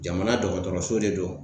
Jamana dɔgɔtɔrɔso de do.